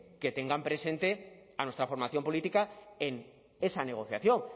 que tengan presente a nuestra formación política en esa negociación